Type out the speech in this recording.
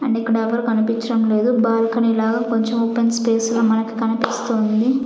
And ఇక్కడ ఎవ్వరూ కనిపిచ్చడం లేదు బాల్కనీ లాగా కొంచం ఓపెన్ స్పేస్ ల మనకి కనిపిస్తూ ఉంది.